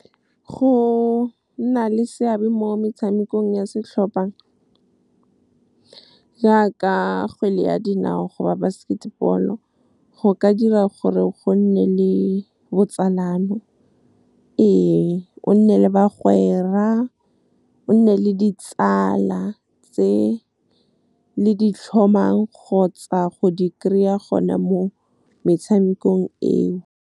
Go nna le seabe mo metshamekong ya setlhopha jaaka kgwele ya dinao goba basket ball, go ka dira gore go nne le botsalano. Ee, o nne le ditsala tse le di tlhomang kgotsa go di kry-a gone mo metshamekong eo.